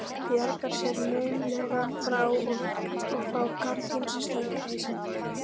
Bjargar sér naumlega frá að fá gardínustöng í hausinn.